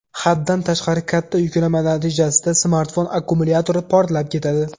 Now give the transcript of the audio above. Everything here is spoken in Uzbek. Haddan tashqari katta yuklama natijasida smartfon akkumulyatori portlab ketadi.